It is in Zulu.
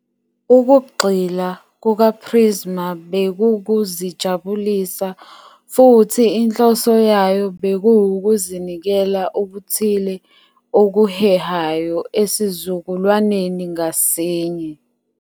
Ukugxila kukaPrizma bekukuzijabulisa futhi inhloso yayo bekuwukunikeza okuthile okuhehayo esizukulwaneni ngasinye.